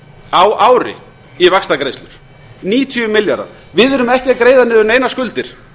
á ári í vaxtagreiðslur níutíu milljarðar við erum ekki að greiða niður neinar skuldir